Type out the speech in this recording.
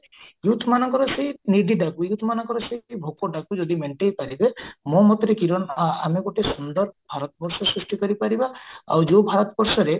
youth ମାନଙ୍କର ସେଇ youth ମାନଙ୍କର ସେଇ ଭୋକଟାକୁ ଯଦି ମେଣ୍ଟେଇପାରିବେ ମୋ ମତରେ କିରଣ ଆମେ ଗୋଟେ ସୁନ୍ଦର ଭାରତ ବର୍ଷ ସୃଷ୍ଟି କରିପାରିବା ଆଉ ଯୋଉ ଭାରତ ବର୍ଷରେ